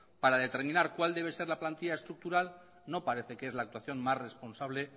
para determinar cuál debe ser la plantilla estructural no parece que es la actuación más responsable